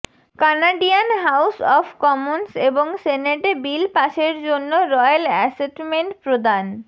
Canadian House of Commons এবং সেনেটে bill পাসের জন্য রয়েল অ্যাসেটমেন্ট প্রদান